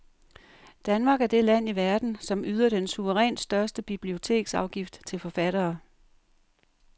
Danmark er det land i verden, som yder den suverænt største biblioteksafgift til forfattere.